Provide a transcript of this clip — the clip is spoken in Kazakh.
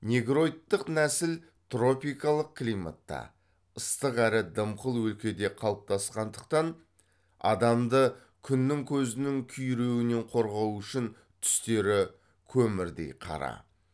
негроидтық нәсіл тропикалық климатта ыстық әрі дымқыл өлкеде қалыптасқандықтан адамды күннің көзінің күйруінен қорғау үшін түстері көмірдей қара